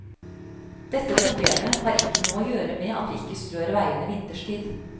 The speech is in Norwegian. Dette problemet har ikke noe å gjøre med at vi ikke strør veiene vinterstid.